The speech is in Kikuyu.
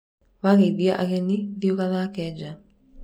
wageithia ageni thiĩ ũgathake ja